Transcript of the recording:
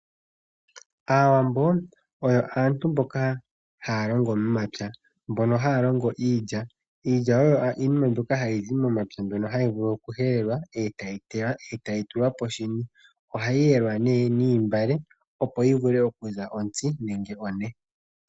Aawambo yo aantu mboka haya longo momapya mbono haya longo iilya. Iilya oyo iinima mbyoka hayi zi momapya mbyono hayi vulu okuhelelwa, etayi tewa, etayi tulwa polupale. Ohayi yelwa nee noontungwa opo yi vule okuza ontsi nenge one.